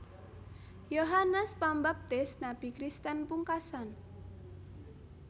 Yohanes Pambaptis nabi Kristen pungkasan